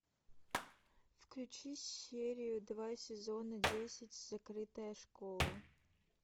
включи серию два сезона десять закрытая школа